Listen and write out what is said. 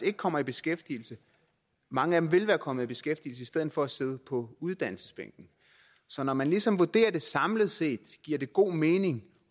ikke kommer i beskæftigelse mange af dem ville være kommet i beskæftigelse i stedet for at sidde på uddannelsesbænken så når man ligesom vurderer det samlet set giver det god mening